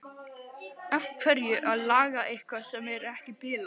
Af hverju að laga eitthvað sem er ekki bilað?